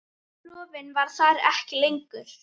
Rofinn var ekki þarna lengur.